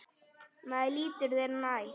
Maður líttu þér nær!